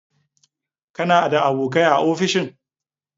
Kana da abokai a ofishin?